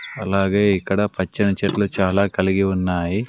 అలాగే ఇక్కడ పచ్చని చెట్లు చాలా కలిగి ఉన్నాయి.